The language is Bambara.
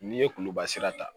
N'i ye kuluba sira ta